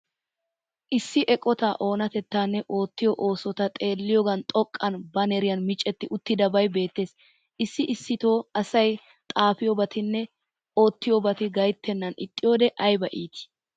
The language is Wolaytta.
Issi eqotaa onatettaanne oottiyo oosota xeelliyogan xoqqan baaneriyan miccetti uttidabay beettees. Issi issitoo asay xafiyobattinne oottiyobati gayttenan ixxiyode ayba iitti!